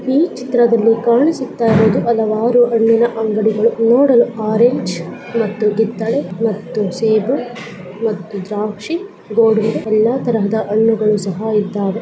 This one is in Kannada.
ಈ ಚಿತ್ರದಲ್ಲಿ ಕಾಣಿಸುತ್ತಿರುವುದು ಹಲವಾರು ಹಣ್ಣಿನ ಅಂಗಡಿಗಳು ನೋಡಲು ಒರೆಂಜ್ ಕಿತ್ತಳೆ ದ್ರಾಕ್ಷಿ ಸೇಬು ಎಲ್ಲ ತರಹದ ಹಣ್ಣುಗಳು ಇದ್ದವೇ